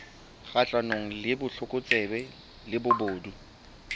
kgahlanong le botlokotsebe le bobodu